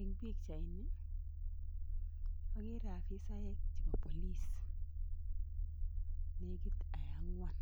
Ing' pichaini agere afisaek chebo police negit ae ang'wan.